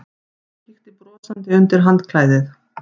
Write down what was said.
Hann kíkti brosandi undir handklæðið.